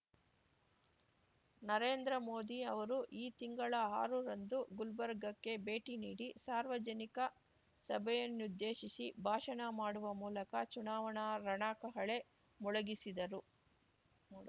ನರೇಂದ್ರ ಮೋದಿ ಅವರು ಈ ತಿಂಗಳ ಆರುರಂದು ಗುಲ್ಬರ್ಗಕ್ಕೆ ಭೇಟಿನೀಡಿ ಸಾರ್ವಜನಿಕ ಸಭೆಯನ್ನುದ್ದೇಶಿಸಿ ಭಾಷಣ ಮಾಡುವ ಮೂಲಕ ಚುನಾವಣಾ ರಣಕಹಳೆ ಮೊಳಗಿಸಿದರು